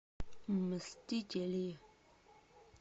мстители